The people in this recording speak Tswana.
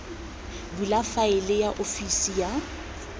bula faele ya ofisi ya